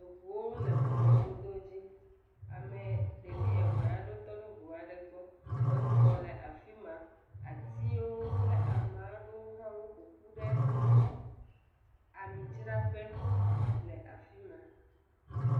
Eʋuwo le ʋu mɔdodo dzi, ɖevi eve aɖewo tɔ ɖe ʋua ɖe gbɔ, exɔ le afima, atiwo kple amaɖowo hã wo ƒoƒu ɖe ami dzraƒe le afima.